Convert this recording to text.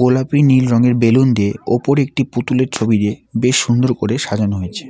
গোলাপি নীল রঙের বেলুন দিয়ে ওপরে একটি পুতুলের ছবি দিয়ে বেশ সুন্দর করে সাজানো হয়েছে।